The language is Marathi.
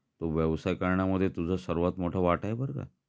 तो व्यवसाय करण्यामध्ये तुझा सर्वात मोठा वाटा आहे बरं का